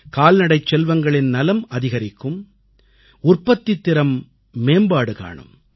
கால்நடைச் செல்வங்களின் நலம் அதிகரிக்கும் உற்பத்தித் திறம் மேம்பாடு காணும்